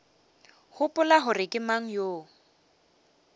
gopola gore ke mang yo